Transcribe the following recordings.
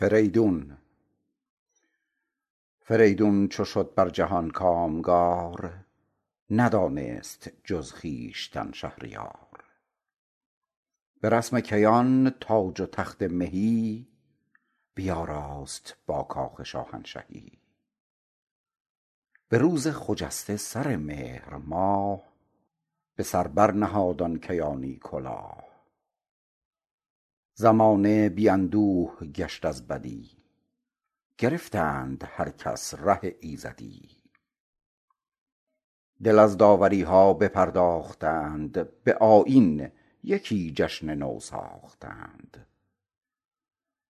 فریدون چو شد بر جهان کامگار ندانست جز خویشتن شهریار به رسم کیان تاج و تخت مهی بیاراست با کاخ شاهنشهی به روز خجسته سر مهر ماه به سر بر نهاد آن کیانی کلاه زمانه بی اندوه گشت از بدی گرفتند هر کس ره ایزدی دل از داوری ها بپرداختند به آیین یکی جشن نو ساختند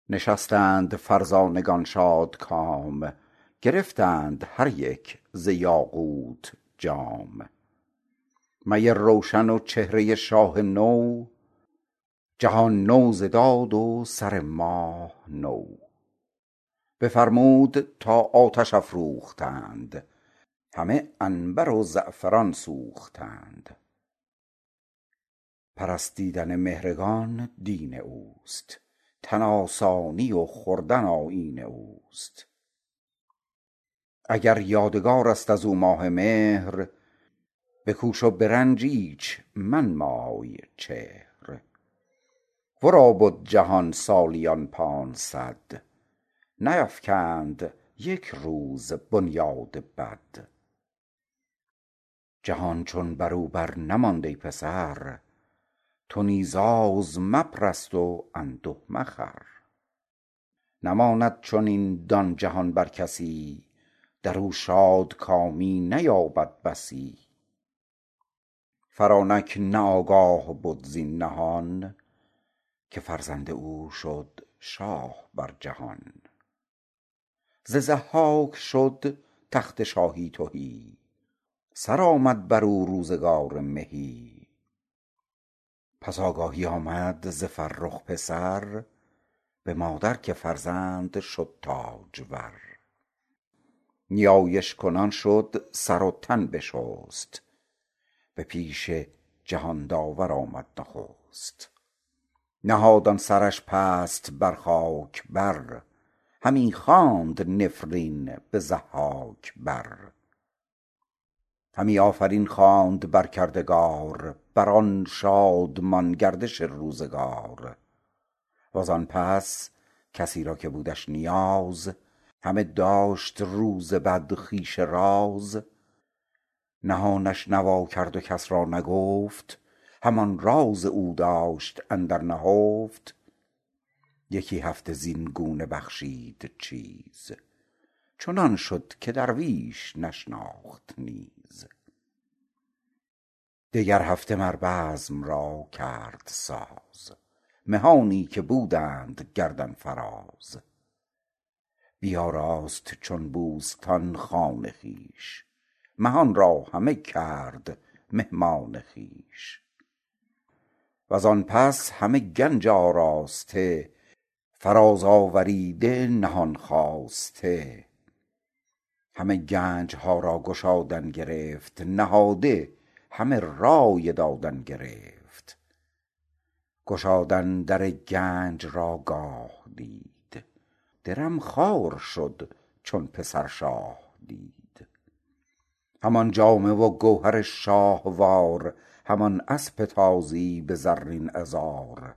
نشستند فرزانگان شادکام گرفتند هر یک ز یاقوت جام می روشن و چهره شاه نو جهان نو ز داد و سر ماه نو بفرمود تا آتش افروختند همه عنبر و زعفران سوختند پرستیدن مهرگان دین اوست تن آسانی و خوردن آیین اوست اگر یادگار است از او ماه مهر بکوش و به رنج ایچ منمای چهر ورا بد جهان سالیان پانصد نیفکند یک روز بنیاد بد جهان چون برو بر نماند ای پسر تو نیز آز مپرست و انده مخور نماند چنین دان جهان بر کسی درو شادکامی نیابی بسی فرانک نه آگاه بد زین نهان که فرزند او شاه شد بر جهان ز ضحاک شد تخت شاهی تهی سرآمد برو روزگار مهی پس آگاهی آمد ز فرخ پسر به مادر که فرزند شد تاجور نیایش کنان شد سر و تن بشست به پیش جهان داور آمد نخست نهاد آن سرش پست بر خاک بر همی خواند نفرین به ضحاک بر همی آفرین خواند بر کردگار بر آن شادمان گردش روزگار وزان پس کسی را که بودش نیاز همی داشت روز بد خویش راز نهانش نوا کرد و کس را نگفت همان راز او داشت اندر نهفت یکی هفته زین گونه بخشید چیز چنان شد که درویش نشناخت نیز دگر هفته مر بزم را کرد ساز مهانی که بودند گردن فراز بیاراست چون بوستان خان خویش مهان را همه کرد مهمان خویش وزان پس همه گنج آراسته فراز آوریده نهان خواسته همان گنج ها را گشادن گرفت نهاده همه رای دادن گرفت گشادن در گنج را گاه دید درم خوار شد چون پسر شاه دید همان جامه و گوهر شاهوار همان اسپ تازی به زرین عذار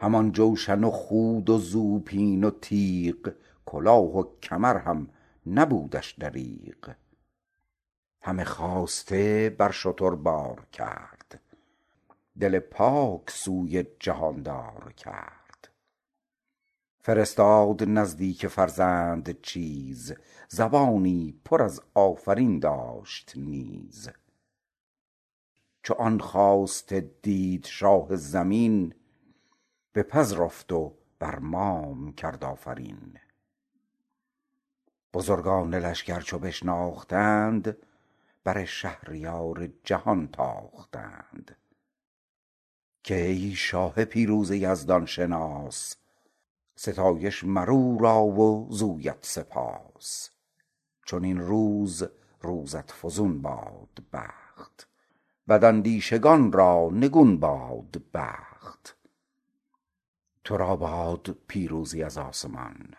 همان جوشن و خود و زوپین و تیغ کلاه و کمر هم نبودش دریغ همه خواسته بر شتر بار کرد دل پاک سوی جهاندار کرد فرستاد نزدیک فرزند چیز زبانی پر از آفرین داشت نیز چو آن خواسته دید شاه زمین بپذرفت و بر مام کرد آفرین بزرگان لشگر چو بشناختند بر شهریار جهان تاختند که ای شاه پیروز یزدان شناس ستایش مر او را و زویت سپاس چنین روز روزت فزون باد بخت بد اندیشگان را نگون باد بخت تو را باد پیروزی از آسمان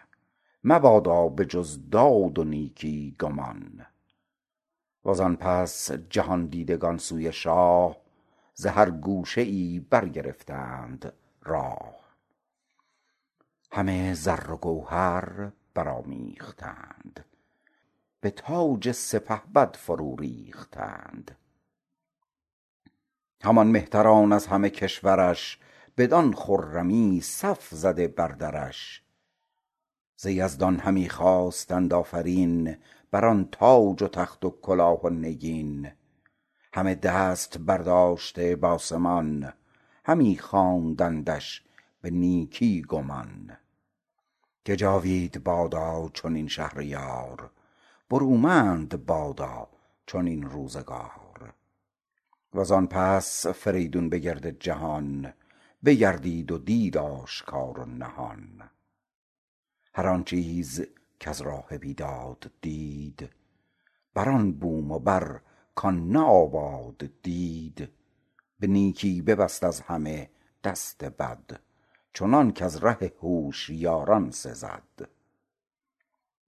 مبادا به جز داد و نیکی گمان و زآن پس جهان دیدگان سوی شاه ز هر گوشه ای برگرفتند راه همه زر و گوهر برآمیختند به تاج سپهبد فرو ریختند همان مهتران از همه کشور ش بدان خرمی صف زده بر درش ز یزدان همی خواستند آفرین بر آن تاج و تخت و کلاه و نگین همه دست برداشته بآسمان همی خواندندش به نیکی گمان که جاوید بادا چنین شهریار برومند بادا چنین روزگار و زآن پس فریدون به گرد جهان بگردید و دید آشکار و نهان هر آن چیز کز راه بیداد دید هر آن بوم و بر کآن نه آباد دید به نیکی ببست از همه دست بد چنانک از ره هوشیاران سزد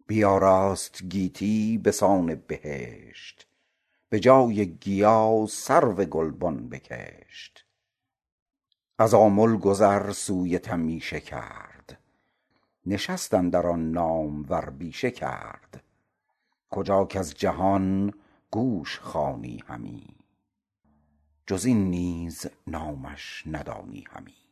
بیاراست گیتی بسان بهشت به جای گیا سرو گلبن بکشت از آمل گذر سوی تمیشه کرد نشست اندر آن نامور بیشه کرد کجا کز جهان گوش خوانی همی جز این نیز نامش ندانی همی